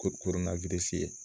Ko koro na ye